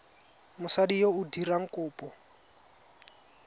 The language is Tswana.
mosadi yo o dirang kopo